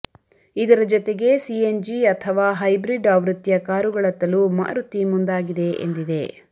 ಇದರ ಜತೆಗೆ ಸಿಎನ್ಜಿ ಅಥವಾ ಹೈಬ್ರಿಡ್ ಆವೃತ್ತಿಯ ಕಾರುಗಳತ್ತಲೂ ಮಾರುತಿ ಮುಂದಾಗಿದೆ ಎಂದಿದೆ